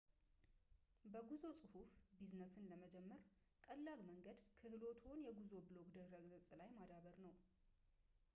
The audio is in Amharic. በጉዞ ጽሁፍ ቢዝነስን ለመጀመር ቀላሉ መንገድ ክህሎትዎን የጉዞ ብሎግ ድረ ገጽ ላይ ማዳበር ነው